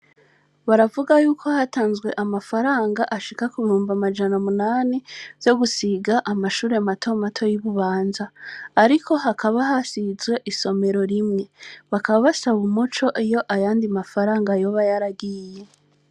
Baravuga yuko hatanzwe amafaranga ashika ku bihumbi majana umunani vyo gusiga amashure mato mato y' I Bubanza, ariko hakaba hasizwe isomero rimwe. Bakaba basaba umuco iyo Ayo yandi mafaranga yoba yaragiye.